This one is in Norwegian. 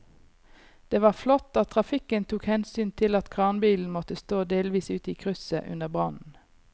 Det var flott at trafikken tok hensyn til at kranbilen måtte stå delvis ute i krysset under brannen.